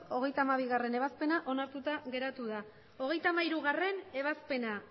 hogeita hamabigarrena ebazpena onartuta geratu da hogeita hamairugarrena ebazpena